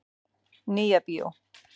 Nýja bíó.